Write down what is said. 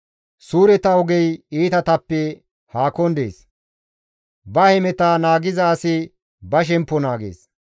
Suureta ogey iitatappe haakon dees; ba hemeta naagiza asi ba shemppo naagees.